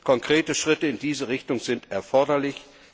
Konkrete Schritte in diese Richtung sind erforderlich.